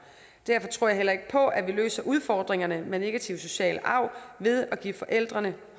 derfor tror jeg heller ikke på at vi løser udfordringerne med negativ social arv ved at give forældrene